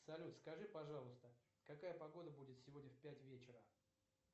салют скажи пожалуйста какая погода будет сегодня в пять вечера